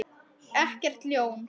Ekkert ljón.